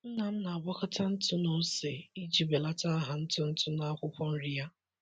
Nna m na-agwakọta ntụ na ose iji belata agha ntụ ntụ n’akwụkwọ nri ya.